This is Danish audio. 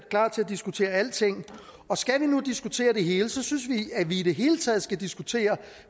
klar til at diskutere alting og skal vi nu diskutere det hele synes vi at i det hele taget skal diskutere